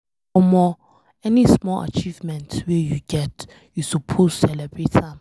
Omo, any small achievement wey you get, you suppose celebrate am.